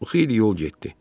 O xeyli yol getdi.